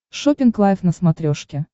шоппинг лайв на смотрешке